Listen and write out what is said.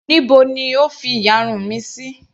Níbo ni O fi ìyarun mi sí.